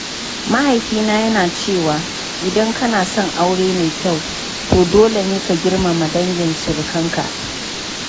Mahaifina yana cewa “idan kana son aure mai kyau, to dole ne ka girmama dangin surukan ka.”